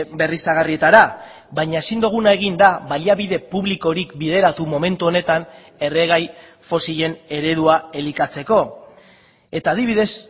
berriztagarrietara baina ezin duguna egin da baliabide publikorik bideratu momentu honetan erregai fosilen eredua elikatzeko eta adibidez